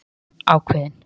spyr hún ákveðin.